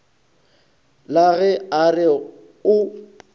la ge a re o